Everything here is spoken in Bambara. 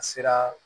A sera